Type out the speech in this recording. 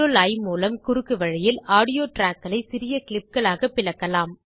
CTRLI மூலம் குறுக்கு வழியில் ஆடியோ ட்ராக் களைச் சிறிய clipகளாகப் பிளக்கலாம்